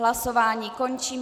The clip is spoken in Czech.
Hlasování končím.